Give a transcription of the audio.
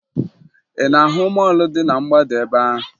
Ị na-ahụ mọọlụ dị na mgbada ebe ahụ?